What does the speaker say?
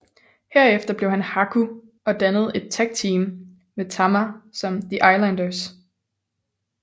Herefter blev han Haku og dannede et tag team med Tama som The Islanders